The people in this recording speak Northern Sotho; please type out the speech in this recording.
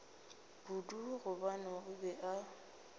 kudu gobane o be a